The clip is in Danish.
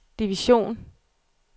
division